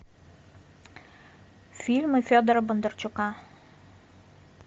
фильмы федора бондарчука